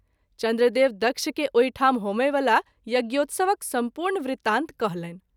चन्द्रदेव दक्ष के ओहिठाम होमएवला यज्ञोत्सवक सम्पूर्ण वृतान्त कहलनि।